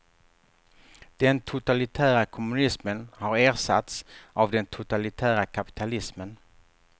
Den totalitära kommunismen har ersatts av den totalitära kapitalismen.